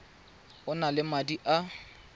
o na le madi a